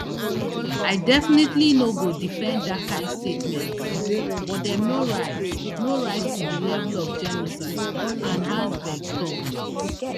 i definitely no go defend dat kain statements but dem no rise no rise to di level of genocide anne herzberg tok